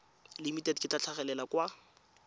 limited le tla tlhagelela kwa